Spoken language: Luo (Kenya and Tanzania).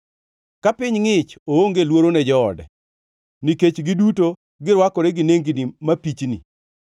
Ka piny ngʼich, oonge luoro ne joode, nikech giduto girwakore gi nengni mapichni.